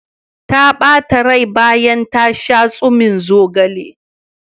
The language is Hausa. Ta ɓata rai bayan ta sha tsumin zogalen.